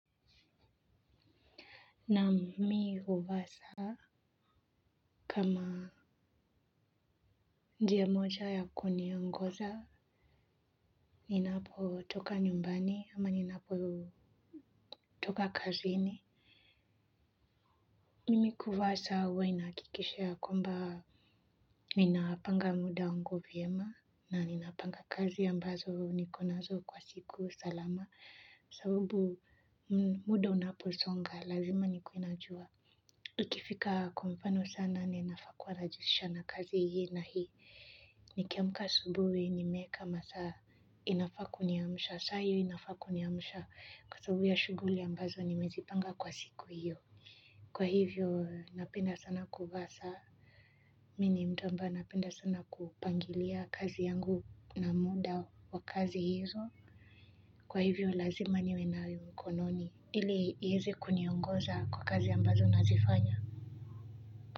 Naa mi huvaa saa kama njia moja yakuniongoza ninapo toka nyumbani ama ninapotoka kazini mimi huvaa saa huwa inahakikisha ya kwamba ninapanga muda wangu vyema na ninapanga kazi ambazo nikonazo kwa siku salama sababu muda unaposonga lazima nikuwe najuwa ukifika kwa mfano saa nane nafaa kuwa najihusisha na kazi hii na hii nikiamka asubuhi nimeeka masaa inafaa kuniamsha saa hiyo inafakuniamsha kwa sababu ya shughuli ambazo nimezipanga kwa siku hiyo kwa hivyo napenda sana kuvaa saa mi ni mtu ambaye anapenda sana kupangilia kazi yangu na muda wa kazi hizo kwa hivyo lazima niwe nayo mkononi ili ieze kuniongoza kwa kazi ambazo nazifanya.